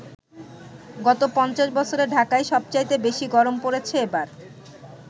গত ৫০ বছরে ঢাকায় সবচাইতে বেশি গরম পড়েছে এবার।